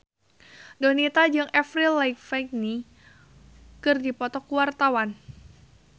Donita jeung Avril Lavigne keur dipoto ku wartawan